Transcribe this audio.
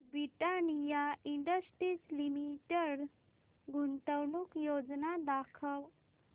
Britannia Industries Limited गुंतवणूक योजना दाखव